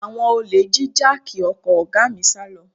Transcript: Àwọn olè jí jáàkì ọkọ̀ ọ̀gá mi sálọ